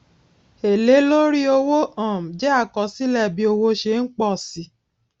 èlé lórí owó um jé àkọsílè bí owó ṣé n pòsi